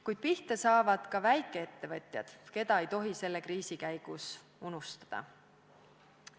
Kuid pihta saavad ka väikeettevõtjad, keda ei tohi selle kriisi käigus unustada.